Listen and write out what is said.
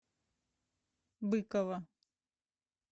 быкова